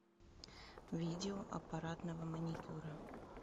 видео аппаратного маникюра